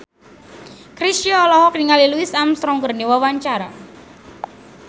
Chrisye olohok ningali Louis Armstrong keur diwawancara